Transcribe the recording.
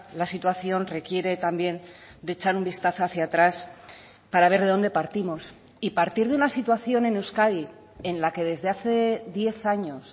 la situación requiere también de echar un vistazo hacia atrás para ver de dónde partimos y partir de una situación en euskadi en la que desde hace diez años